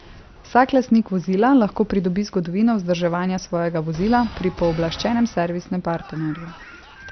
Vsak lastnik vozila lahko pridobi zgodovino vzdrževanja svojega vozila pri pooblaščenem servisnem partnerju.